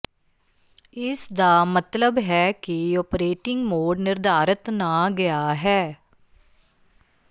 ਇਸ ਦਾ ਮਤਲਬ ਹੈ ਕਿ ਓਪਰੇਟਿੰਗ ਮੋਡ ਨਿਰਧਾਰਤ ਨਾ ਗਿਆ ਹੈ